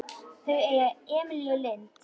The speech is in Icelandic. Þau eiga Emilíu Lind.